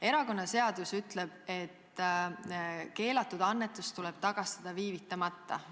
Erakonnaseadus ütleb, et keelatud annetus tuleb tagastada viivitamatult.